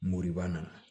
Moribana